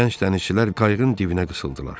Gənc dənizçilər qayıqın dibinə qısılırdılar.